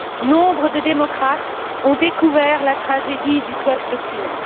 Nombre de démocrates ont découvert la tragédie du peuple kurde.